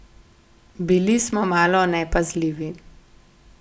Bili smo malo nepazljivi.